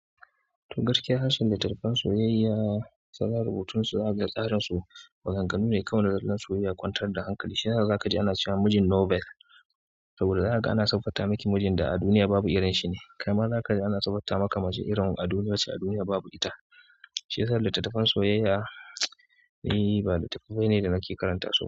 Garkiya harshen littattafan soyayya, saura, rubutunsu, zakaga tsarin su, maganganu ne kawai na soyayya, kwantar da hankali. Shiyasa za ka ji ana cewa mujin novel, saboda haka ana san fata maki mujin da a duniya babu irin shi ne. Kai ma za ka ji ana san fata maka mace irin a duniyarsu, a duniya babu ita. Shiyasa littattafan soyayya, e ba littattafai ba ne da nake karanta su.